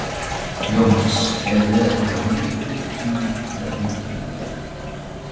Jóhannes: Erum við að tala um hundruð, tugi eða hundruð milljóna?